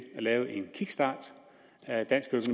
at lave en kickstart af dansk